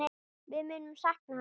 Við munum sakna hans.